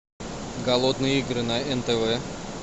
голодные игры на нтв